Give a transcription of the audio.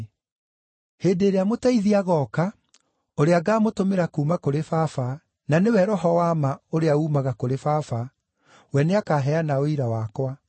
“Hĩndĩ ĩrĩa Mũteithia agooka, ũrĩa ngaamũtũmĩra kuuma kũrĩ Baba, na nĩwe Roho wa ma ũrĩa uumaga kũrĩ Baba, we nĩakaheana ũira wakwa.